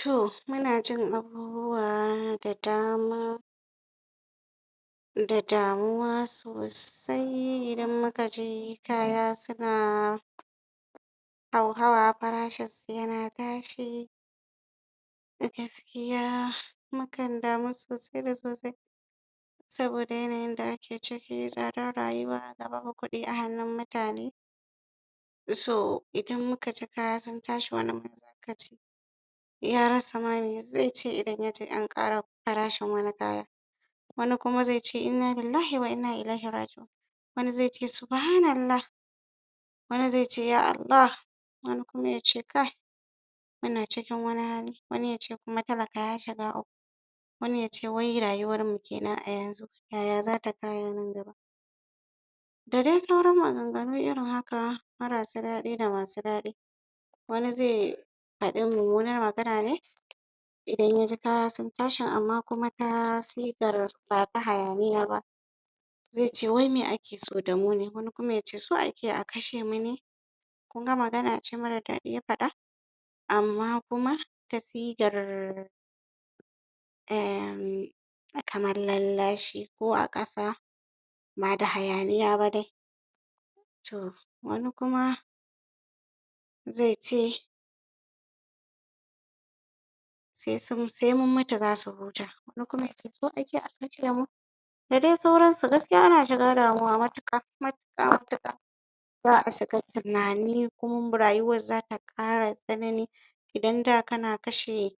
To muna jin abubuwa da dama da damuwa sosai idan muka ji kaya suna hauhawa farashin su yana tashi a gaskiya mukan damu sosai da sosai saboda yanayin da ake ciki tsadar rayuwa ga babu kuɗi a hannun mutane so idan muka ji kaya sun tashi wani ma zaka ji ya rasa ma mai zai ce idan ya ji an ƙara farashin wani kaya wani kuma zai ce "innalillahi wa inna ilaihi raji'un" wani zai ce "subhanallah" wani zai ce "ya Allah" wani kuma yace kai muna cikin wani hali wani yace kuma talaka ya shiga uku wani yace wai rayuwar me kenan a yanzu yaya zata kaya nan gaba da dai sauran maganganu irin haka marasa daɗi da masu daɗi wani zai faɗi mummunar magana ne idan ya ji kaya sun tashin amma kuma ta sigar bata hayaniya ba zai ce wai me ake so da mu ne, wani kuma yace so ake a kashe mu ne? kun magana ce mara daɗi ya faɗa amma kuma ta sigar um kamar lallashi ko a ƙasa ba da hayaniya ba dai, to wani kuma zai ce sai mun mutu zasu huta wani kuma yace so ake a kashe mu? da dai sauransu gaskiya ana shiga damuwa matuƙa, matuƙa matuƙa za a shiga tunani kuma rayuwar zata ƙara tsanani idan da kana kashe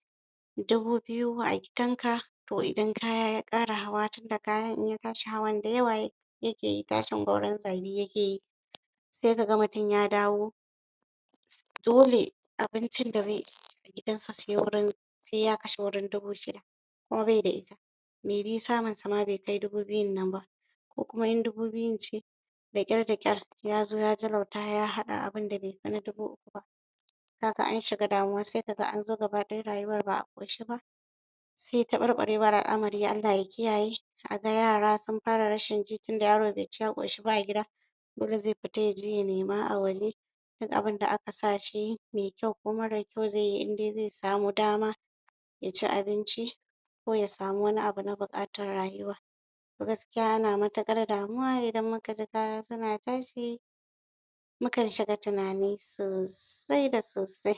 dubu biyu a gidan ka to idan kaya ya ƙara hawa tunda kayan in ya tashi hawan dayawa ya yake yi tashin gwauron zabi yake yi, sai ka ga mutum ya dawo dole abincin da zai ci gidan sa sai wuirn sai ya kashe wurin dubu shida kuma bai da ita maybe samun sa ma bai kai dubu biyun nan ba ko kuma in dubu biyun ce da ƙyar da ƙyar yazo ya jalauta ya haɗa abunda bai fi na dubu ukun ba kaga an shiga damuwa sai kaga an zo gaba ɗaya rayuwar ba a ƙoshe ba sai taɓarɓarewar al'amari Allah ya kiyaye a ga yara sun fara rashin ji tunda yaro bai ci ya ƙoshi ba a gida dole zai fita yaje ya nema a waje duk abunda aka sa shi yi mai kyau ko mara kyau zai yi in dai zai samu dama ya ci abinci ko ya samu wani abu na buƙatar rayuwa to gaskiya ana matuƙar damuwa idan muka ji kaya suna tashi mukan shiga tunani sosai da sosai